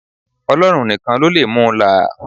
Ọlọ́run nìkan ló lè mu là á.